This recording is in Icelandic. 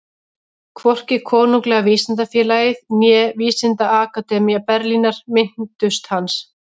Hvorki Konunglega vísindafélagið né Vísindaakademía Berlínar minntust hans.